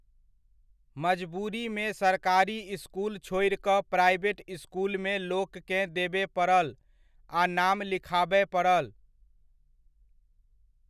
मजबूरीमे सरकारी इसकुल छोड़ि कऽ प्राइवेट इसकुलमे लोककेँ देबय पड़ल आ नाम लिखाबय पड़ल।